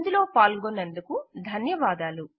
ఇందులో పాల్గొన్నందుకు ధన్యవాదములు